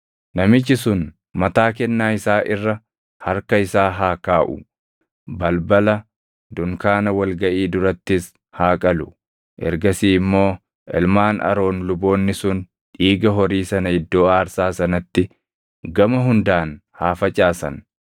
Namichi sun mataa kennaa isaa irra harka isaa haa kaaʼu; balbala dunkaana wal gaʼii durattis haa qalu. Ergasii immoo ilmaan Aroon luboonni sun dhiiga horii sana iddoo aarsaa sanatti gama hundaan haa facaasan.